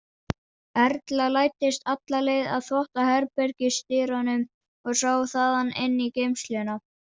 Erla læddist alla leið að þvottaherbergisdyrunum og sá þaðan inn í geymsluna.